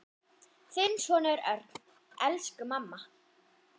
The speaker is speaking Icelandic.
Þinn sonur Örn. Elsku mamma.